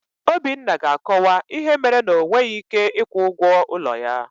Obinna ga-akọwa ihe mere na o nweghị ị́ké ịkwụ ụgwọ ụlọ ya.